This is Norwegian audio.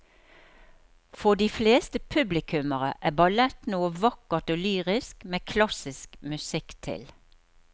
For de fleste publikummere er ballett noe vakkert og lyrisk med klassisk musikk til.